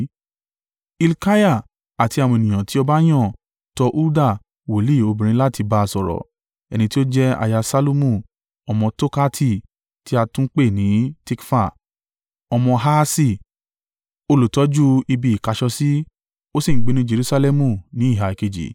Hilkiah àti àwọn ènìyàn tí ọba yàn tọ Hulda wòlíì obìnrin láti ba sọ̀rọ̀, ẹni tí ó jẹ́ aya Ṣallumu ọmọ Tokhati tí a tún ń pè ní Tikfa, ọmọ Harhasi, olùtọ́jú ibi ìkáṣọsí. Ó sì ń gbé ní Jerusalẹmu, ní ìhà kejì.